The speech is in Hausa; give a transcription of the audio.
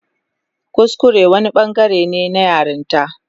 Kuskure wani bangare ne na yaranta.